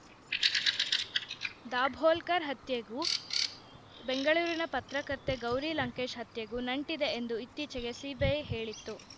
ದಾಭೋಲ್ಕರ್‌ ಹತ್ಯೆಗೂ ಬೆಂಗಳೂರಿನ ಪತ್ರಕರ್ತೆ ಗೌರಿ ಲಂಕೇಶ್‌ ಹತ್ಯೆಗೂ ನಂಟಿದೆ ಎಂದು ಇತ್ತೀಚೆಗೆ ಸಿಬಿಐ ಹೇಳಿತ್ತು